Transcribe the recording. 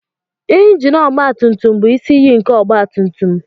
Injin ọgba tùmtùm bụ isi iyi ìké nke ọgba tùmtùm